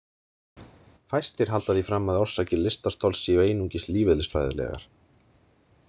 Fæstir halda því fram að orsakir lystarstols séu einungis lífeðlisfræðilegar.